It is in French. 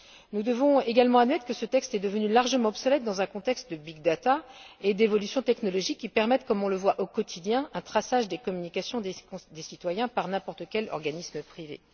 Nous devons également admettre que ce texte est devenu largement obsolète dans un contexte de big data et d'évolution technologique qui permet, comme on le voit au quotidien, un traçage des communications des citoyens par n'importe quel organisme privé.